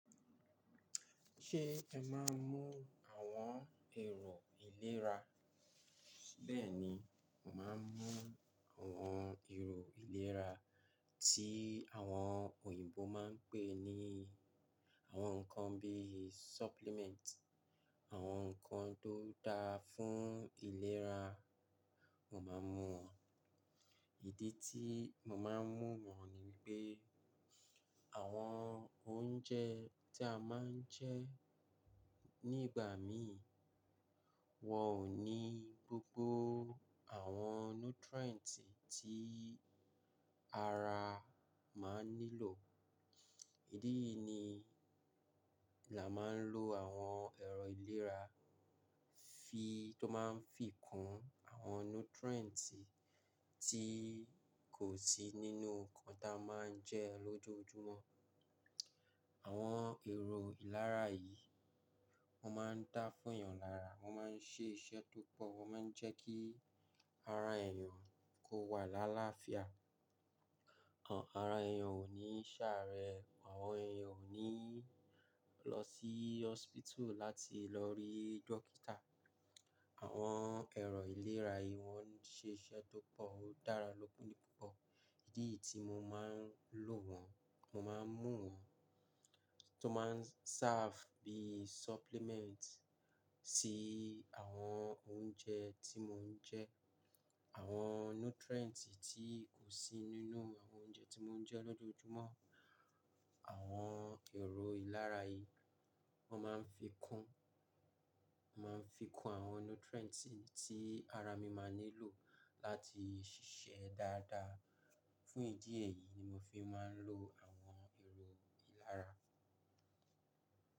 Ṣé ẹ máa ń mú àwọn ẹ̀rọ ìlera? Bẹ́ẹ̀ni, mo máa ń mú àwọn ẹ̀rọ ìlera tí àwọn òyìnbó máa ń pè ní àwọn nǹkan bíi supplement, àwọn nǹkan tó dáa fún ìlera, mo máa ń mú wọ́n. Ìdí tí mo máa ń mú wọ́n ni pé, àwọn oúnjẹ tí a máa ń jẹ nígbà mi wọ́n ò ní gbogbo àwọn nutrient tí ara máa ń nílò. Idí yìí ni là máà ń lo àwọn ẹ̀rọ ìlera fi tó máa ń fi kún àwọn nutrient tí kò sí nínú nǹkan tí a máa ń jẹ lójoojúmọ́. Àwọn ẹ̀rọ ìlera yìí wọ́n máa ń dá fún èèyàn lára, wọ́n máa ń ṣe iṣẹ́ tó pọ̀, wọ́n máa ń jẹ́ kí ara èèyàn kó wà lálaáfíà. Ara èèyàn ò ní ṣàárẹ̀, àwọn èèyàn ò ní lọ sí hospital láti lọ rí dókítà. Àwọn ẹ̀rọ ìlera yìí wọ́n ṣe iṣẹ́ tó pọ̀, ó dára lópòlopò pọ̀. Idí yìí tí mo máa ń lò wọ́n, mo máa ń mú wọ́n tó máa ń serve bíi supplement sí àwọn oúnjẹ tí mo ń jẹ. Àwọn nutrient tí kò sí nínú àwọn oúnjẹ tí mo ń jẹ lójoojúmọ́, àwọn ẹ̀rọ ìlara yìí wọ́n máa ń fi kún, wọ́n máa ń fi kún àwọn nutrient tí ara mi máa ń nílò láti ṣiṣẹ́ dáadáa. Fún ìdí èyí ni mo fi máa ń lo àwọn ẹ̀rọ ìlera.